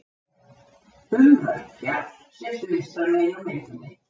Umrætt fjall sést vinstra megin á myndinni.